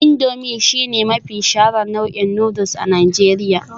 Indomie shine mafi shaharar nau'in noodles a Najeriya